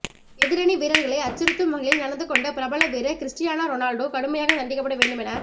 எதிரணி வீரர்களை அச்சுறுத்தும் வகையில் நடந்து கொண்ட பிரபல வீரர் கிறிஸ்டியானோ ரொனால்டோ கடுமையாக தண்டிக்கப்பட வேண்டும் என